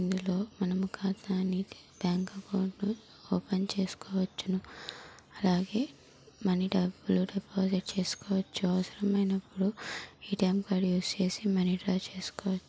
ఇందులో మనం ఖాతాని బ్యాంక్ అకౌంట్ ఓపెన్ చేసుకోవచ్చును. అలాగే మనీ డబ్బులు డిపాజిట్ చేసుకోవచ్చు. అవసరమైనప్పుడు ఏ_టీ_ఎం కార్డు యూస్ చేసి మనీ డ్రా చేసుకోవ--